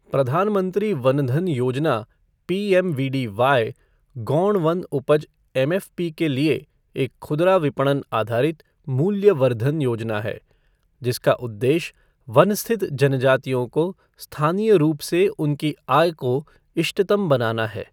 प्रधान मंत्री वन धन योजना पीएमवीडीवाई गौण वन उपज एमएफ़पी के लिए एक खुदरा विपणन आधारित मूल्य वर्द्धन योजना है, जिसका उद्वेश्य वन स्थित जनजातियों को स्थानीय रूप से उनकी आय को इष्टतम बनाना है।